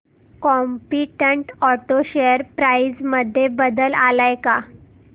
competent auto share price मध्ये बदल आलाय का